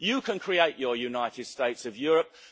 You can create your United States of Europe.